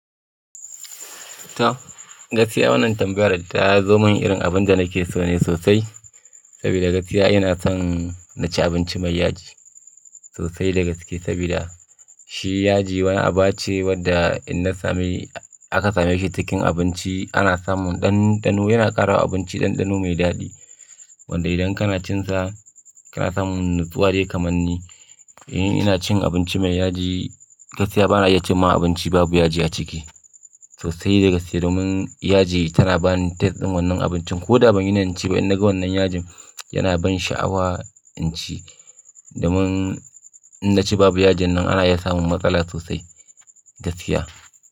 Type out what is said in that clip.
To, gaskiya wannan tambayar da ta zo min irin abin da nake so ne sosai. Saboda gaskiya ina son na ci abinci mai yaji sosai da gaske. Saboda shi yaji wani abu ce wadda in na sami aka same shi cikin abinci ana samun ɗanɗano yana ƙara wa abinci ɗanɗano mai daɗi. Wanda idan kana cin sa kana samun natsuwa dai kamar ni. In ina cin abinci mai yaji, gaskiya bana iya cin ma abinci babu yaji a ciki sosai. Dagaske domin yaji tana bani taste din wannan abincin ko da ban yi niyan ci ba. In naga wannan yajin yana bani sha'awa in ci. Domin in na ci babu yajin nan ana iya samun matsala sosai gaskiya.